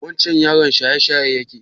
Wancen yaron shayeshaye yake?